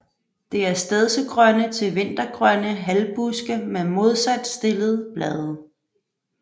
Det er stedsegrønne til vintergrønne halvbuske med modsat stillede blade